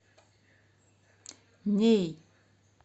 неи